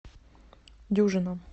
дюжина